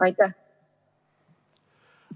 Aitäh!